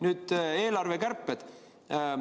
Nüüd, eelarvekärped.